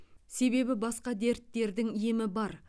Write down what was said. себебі басқа дерттердің емі бар